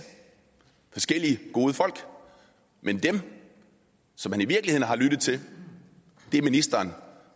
forskellige gode folk men at den som han i virkeligheden har lyttet til er ministeren